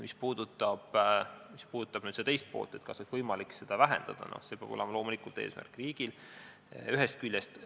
Mis puudutab küsimuse teist poolt, kas oleks võimalik seda arvu vähendada, siis see peab olema loomulikult riigi eesmärk, ühest küljest.